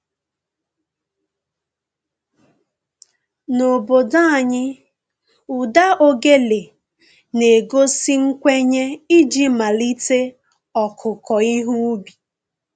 N'obodo anyị, ụda ogele na-egosi nkwenye iji malite ọkụkụ ihe ubi